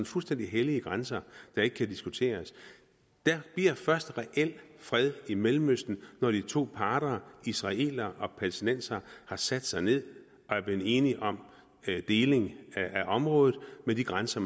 fuldstændig hellige grænser der ikke kan diskuteres der bliver først reel fred i mellemøsten når de to parter israelere og palæstinensere har sat sig ned og er blevet enige om en deling af området med de grænser